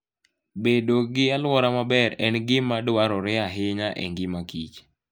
Bedo gi alwora maber en gima dwarore ahinya e ngima Kich.